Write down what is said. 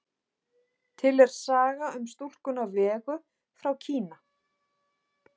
Til er saga um stúlkuna Vegu frá Kína.